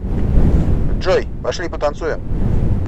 джой пошли потанцуем